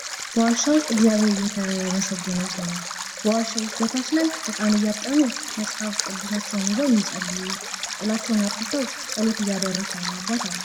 በዋሻ ዉስጥ እግዚያብሄር እየተመሰገነ ይገኛል። በዋሻ ዉስጥ በታች ላይ እቃን እያጠቡ መጽሀፍ ቅዱሳቸውን ይዘው የሚጸልዩ ጥላቸውን አጥልተው ጸሎት እያደረሱ ያሉ አባት አሉ።